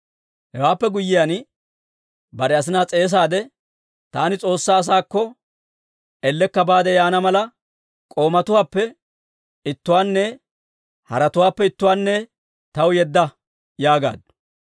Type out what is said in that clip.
Hewaappe guyyiyaan, bare asinaa s'eesaade, «Taani S'oossaa asaakko ellekka baade yaana mala, k'oomatuwaappe ittuwaanne haretuwaappe ittuwaanne taw yedda» yaagaaddu.